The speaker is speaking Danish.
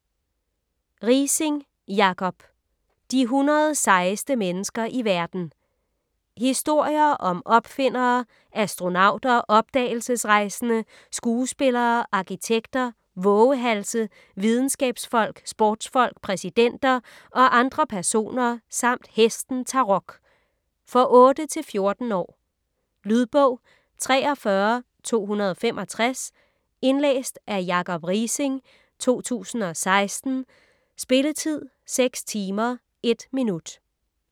Riising, Jacob: De 100 sejeste mennesker i verden Historier om opfindere, astronauter, opdagelsesrejsende, skuespillere, arkitekter, vovehalse, videnskabsfolk, sportsfolk, præsidenter og andre personer samt hesten Tarok. For 8-14 år. Lydbog 43265 Indlæst af Jacob Riising, 2016. Spilletid: 6 timer, 1 minutter.